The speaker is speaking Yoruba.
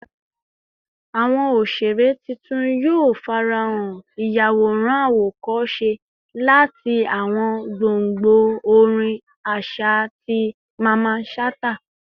Awọn oṣere titun yoo farahan, iyaworan awokose lati awọn gbongbo orin aṣa ti Mamman Shata